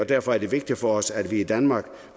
derfor er det vigtigt for os at vi i danmark